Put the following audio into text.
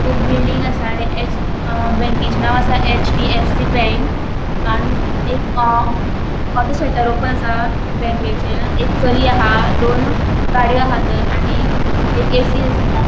एक बिल्डिंग आसा आणि एस बँकेचे नाव आसा एचडीफएफसी बैंक हाजो शटर ओपन आसा बँकेचे एक चली आहा दोन गाड़ियों आहा थय आणि एक ऐसी आसा.